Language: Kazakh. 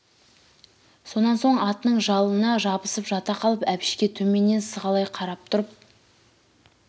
сонан соң атының жалына жабысып жата қалып әбішке төменнен сығалай қарап тұрып